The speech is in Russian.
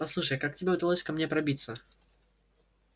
послушай как тебе удалось ко мне пробиться